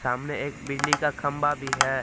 सामने एक बिजली का खंबा भी है।